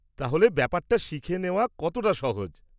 তাহলে, ব্যাপারটা শিখে নেওয়া কতটা সহজ?